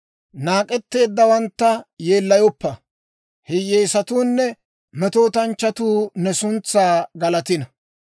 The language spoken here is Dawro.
Naak'etteeddawantta yeellayoppa; hiyyeesatuunne metootanchchatuu ne suntsaa galatino.